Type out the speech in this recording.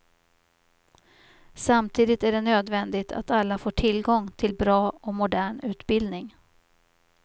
Samtidigt är det nödvändigt att alla får tillgång till bra och modern utbildning.